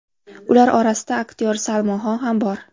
Ular orasida aktyor Salmon Xon ham bor.